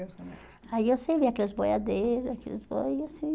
Aí eu servia aqueles boiadeiros, aquelas coisas assim.